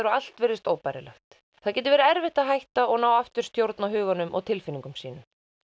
og allt virðist óbærilegt það getur verið erfitt að hætta og ná aftur stjórn á huganum og tilfinningum sínum